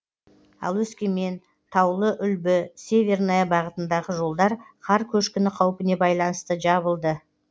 ал өскемен таулыүлбі северная бағытындағы жолдар қар көшкіні қаупіне байланысты жабылды